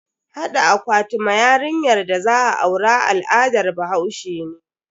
Hada akwati ma yarinyar da za a aura al'adar bahaushe ne.